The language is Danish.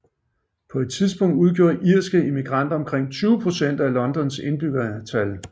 På et tidspunkt udgjorde irske immigranter omkring 20 procent af Londons indbyggertal